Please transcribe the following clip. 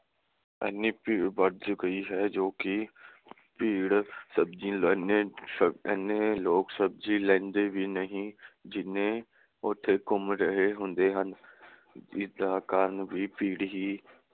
ਇਹਨੀ ਭੀੜ ਵੱਧ ਗਈ ਹੈ ਜੋ ਕੇ ਭੀੜ ਸਬਜ਼ੀ ਲੈਂਦੇ ਇਹਨੇ ਲੋਕ ਸਬਜ਼ੀ ਲੈਂਦੇ ਵੀ ਨਹੀਂ ਜਿੰਨੇ ਉਥੇ ਘੁੰਮ ਰਹੇ ਹੁੰਦੇ ਹਨ। ਇਸਦਾ ਕਾਰਨ ਵੀ ਭੀੜ ਹੀ